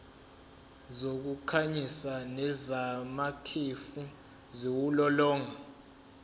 zokukhanyisa nezamakhefu ziwulolonga